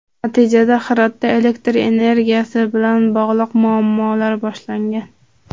Natijada Hirotda elektr energiyasi bilan bog‘liq muammolar boshlangan.